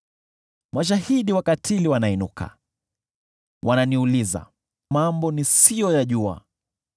Mashahidi wakatili wanainuka, wananiuliza mambo nisiyoyajua.